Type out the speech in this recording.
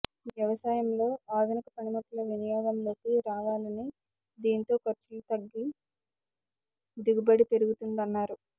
వ్యవసాయంలో ఆధునిక పనిముట్లు వినియోగంలోకి రావా లని దీంతో ఖర్చులు తగ్గి దిగుబడి పెరుగుతుందన్నారు